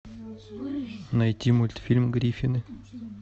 найти мультфильм гриффины